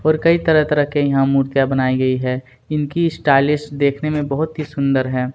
और कई तरह- तरह के यहाँ मूर्तियाँ बनाई गई है इनकी स्टाइलिश देखने में बहुत ही सुंदर हैं।